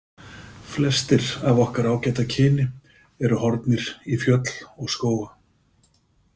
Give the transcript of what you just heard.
Flestir af okkar ágæta kyni eru horfnir í fjöll og skóga.